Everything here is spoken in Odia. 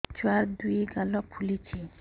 ଛୁଆର୍ ଦୁଇ ଗାଲ ଫୁଲିଚି